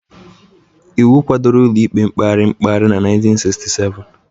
Iwu kwadoro Ụlọikpe Mkpegharị Mkpegharị na 1967